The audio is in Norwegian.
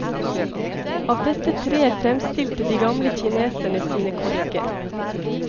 Av dette treet fremstilte de gamle kineserne sine korker.